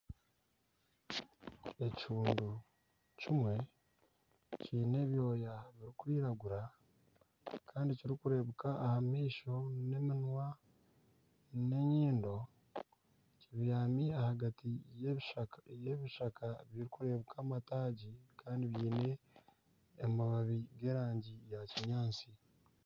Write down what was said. Ekihundu kimwe kiine ebyooya birikwiragura kandi kirikureebeka aha maisho n'eminwa n'enyindo kibyami ahagati y'ebishaka bikureebeka amataagi kandi byine amababi g'erangi ya kinyaatsi.